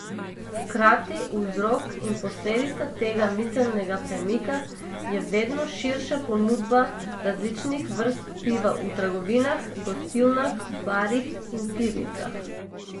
Hkrati vzrok in posledica tega miselnega premika je vedno širša ponudba različnih vrst piva v trgovinah, gostilnah, barih in pivnicah.